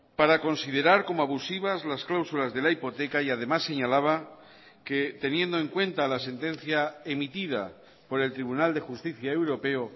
para considerar como abusivas las cláusulas de la hipoteca y además señalaba que teniendo en cuenta la sentencia emitida por el tribunal de justicia europeo